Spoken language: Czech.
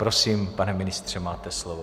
Prosím, pane ministře, máte slovo.